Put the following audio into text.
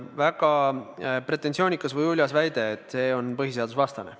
Väga pretensioonikas või uljas väide, et eelnõu on põhiseadusvastane.